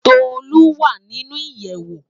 Tolu wá ninú iyèwó